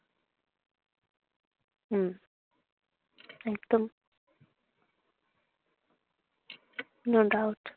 হম একদম no doubt